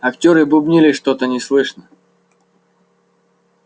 актёры бубнили что-то неслышно